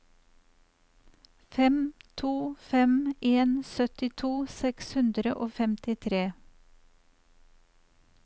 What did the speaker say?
fem to fem en syttito seks hundre og femtitre